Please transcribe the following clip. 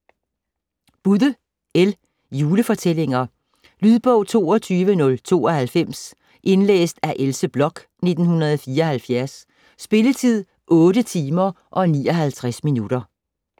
Budde, L.: Julefortællinger Lydbog 22092 Indlæst af Else Bloch, 1974. Spilletid: 8 timer, 59 minutter.